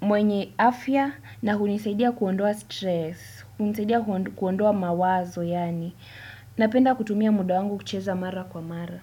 mwenye afya na hunisaidia kuondoa stress, hunisaidia kuondoa mawazo yaani, napenda kutumia muda wangu kucheza mara kwa mara.